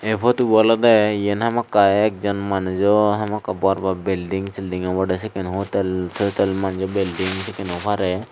ey potubo olode yen hamakkai ekjon manujo hamakkai bor bor belding seldind obode sekken hotel toitel manjo belding sikken oi parei.